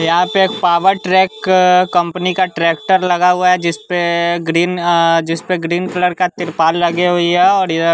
यहां पे एक पावरट्रैक कंपनी का ट्रैक्टर लगा हुआ है जिसपे ग्रीन अ जिसपे ग्रीन कलर का तिरपाल लगे हुई है और यह--